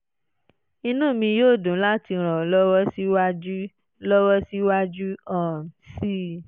inú mi yóò dùn láti ràn ọ́ lọ́wọ́ síwájú lọ́wọ́ síwájú um sí i